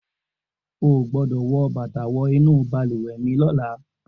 O ò gbọ́dọ̀ wọ bàtà wọ inú balùwẹ̀ mi lọ́la!